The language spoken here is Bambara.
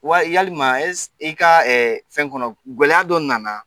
Wa yalima e i ka fɛn kɔnɔ gɛlɛya dɔ nana